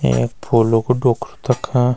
यख फूलु कु डोख्रु तखा।